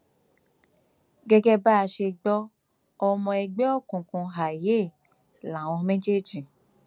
gẹgẹ bá a ṣe gbọ ọmọ ẹgbẹ òkùnkùn èìyẹ làwọn méjèèjì